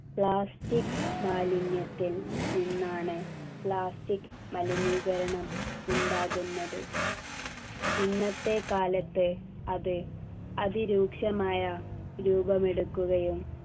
plastic മാലിന്യത്തിൽ നിന്നാണ് plastic മലിനീകരണം ഉണ്ടാകുന്നത് ഇന്നത്തെ കാലത്തെ അത് അതിരൂക്ഷമായ രൂപമെടുക്കുകയും